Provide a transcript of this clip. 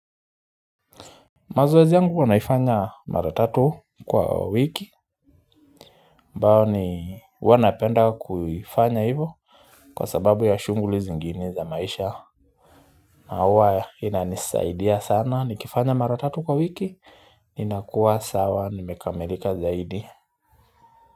Mazoezi yangu huwa naifanya mara tatu kwa wiki. Mbao ni huwa napenda kuifanya hivo. Kwa sababu ya shuguli zingine za maisha na huwa inanisaidia sana ni kifanya mara tatu kwa wiki. Inakuwa sawa nimekamelika zaidi.